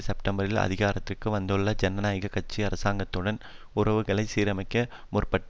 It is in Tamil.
செப்டம்பரில் அதிகாரத்திற்கு வந்துள்ள ஜனநாயக கட்சி அரசாங்கத்துடன் உறவுகளை சீரமைக்க முற்பட்டார்